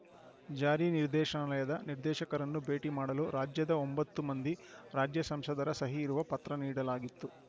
ಜಾರಿ ನಿರ್ದೇಶನಾಲಯದ ನಿರ್ದೇಶಕರನ್ನು ಭೇಟಿ ಮಾಡಲು ರಾಜ್ಯದ ಒಂಬತ್ತು ಮಂದಿ ರಾಜ್ಯ ಸಂಸದರ ಸಹಿ ಇರುವ ಪತ್ರ ನೀಡಲಾಗಿತ್ತು